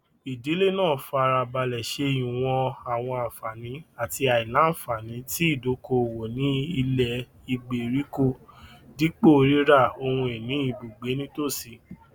ìdílé náà fara balẹ ṣe ìwọn àwọn àǹfààní àti àìlànfààní tí ìdókòowó ní ilẹ ìgbèríko dípò rírà ohunìní ìbugbe nítòsí